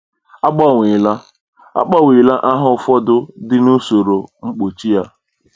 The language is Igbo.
A gbanweela A gbanweela aha ụfọdụ dị n’usoro mkpuchi a.